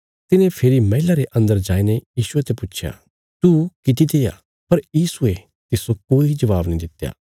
तिने फेरी मैहला रे अन्दर जाईने यीशुये ते पुच्छया तू किति तेआ पर यीशुये तिस्सो कोई जबाब नीं दित्या